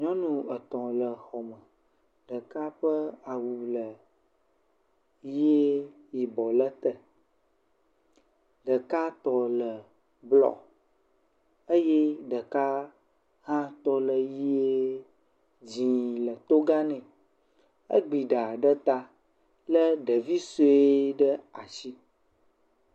Nyɔnu etɔ̃ le xɔme, ɖeka ƒe awu le ʋie, yibɔ le ete. Ɖekatɔ le blɔ eye ɖeka hã tɔ le ʋie, dzɛ̃ le toga nɛ. Egbi ɖa ɖe ta lé ɖevi sue ɖe asi.